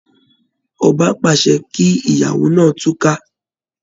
Ọba pàṣẹ kí ìgbéyàwó náà túká